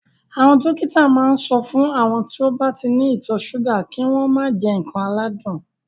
Àwọn dókítà ma ń sọ fún àwọn tí wọ́n ní ìtọ̀ súgà kí wọ́n mà jẹ ǹkan aládùn